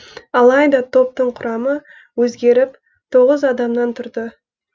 алайда топтың құрамы өзгеріп тоғыз адамнан тұрды